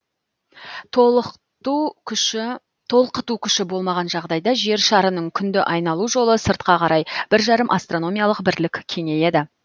толқыту күші болмаған жағдайда жер шарының күнді айналу жолы сыртқа қарай бір жарым астрономиялық бірлік кеңейеді